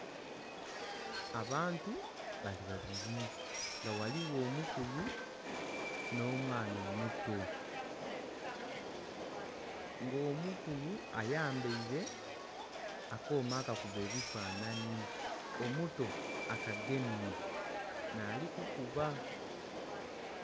Abantu bali babiri nga ghaligho omukulu nho mwaana omuto nga omukulu ayambaire akooma aka kuba ebifananhi omuto akagemye nhali kukuba.